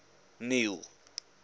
neil